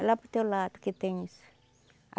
É lá para o teu lado que tem isso.